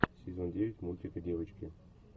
сезон девять мультика девочки